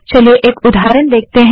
चलिए एक उदाहरण देखते हैं